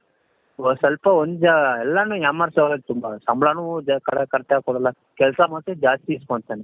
ಒಂದು ಸ್ವಲ್ಪ ಒಂದ್ ಎಲ್ಲಾನು ಯಾಮಾರ್ಸೋರೆ ತುಂಬಾ ಸಂಬಳಾನು correct ಆಗಿ ಕೊಡಲ್ಲ ಕೆಲಸ ಮಾತ್ರ ಜಾಸ್ತಿ ಇಸ್ಕೊಂತಾನೆ .